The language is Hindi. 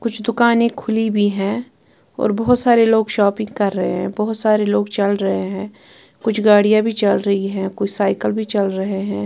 कुछ दुकानें खुली भी हैं और बहोत सारे लोग शॉपिंग कर रहे हैं बहोत सारे लोग चल रहे हैं कुछ गाड़ियां भी चल रही हैं कुछ साइकिल भी चल रहे हैं।